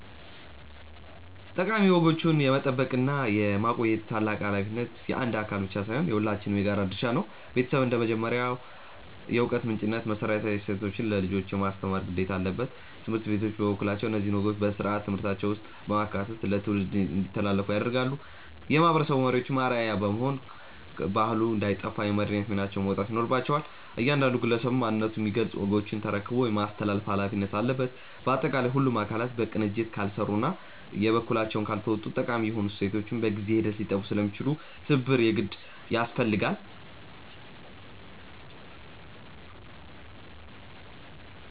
ጠቃሚ ወጎችን የመጠበቅና የማቆየት ታላቅ ኃላፊነት የአንድ አካል ብቻ ሳይሆን የሁላችንም የጋራ ድርሻ ነው። ቤተሰብ እንደ መጀመሪያው የዕውቀት ምንጭነቱ መሰረታዊ እሴቶችን ለልጆች የማስተማር ግዴታ አለበት። ትምህርት ቤቶች በበኩላቸው እነዚህን ወጎች በሥርዓተ ትምህርታቸው ውስጥ በማካተት ለትውልድ እንዲተላለፉ ያደርጋሉ። የማህበረሰብ መሪዎችም አርአያ በመሆን ባህሉ እንዳይጠፋ የመሪነት ሚናቸውን መወጣት ይኖርባቸዋል። እያንዳንዱ ግለሰብም ማንነቱን የሚገልጹ ወጎችን ተረክቦ የማስተላለፍ ኃላፊነት አለበት። ባጠቃላይ ሁሉም አካላት በቅንጅት ካልሰሩና የበኩላቸውን ካልተወጡ ጠቃሚ የሆኑ እሴቶቻችን በጊዜ ሂደት ሊጠፉ ስለሚችሉ ትብብር የግድ ያስፈልጋል።